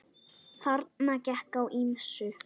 Þarna gekk á ýmsu.